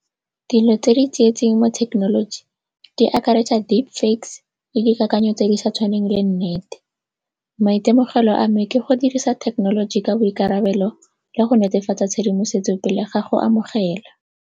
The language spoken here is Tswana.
Dilo tse di tsietsing mo thekenoloji di akaretsa le dikakanyo tse di sa tshwaneng le nnete. Maitemogelo a me ke go dirisa thekenoloji ka boikarabelo le go netefatsa tshedimosetso pele ga go amogela.